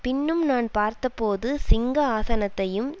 பின்னும் நான் பார்த்தபோது சிங்க ஆசனத்தையும்